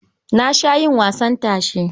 Na sha yin wasan tashe.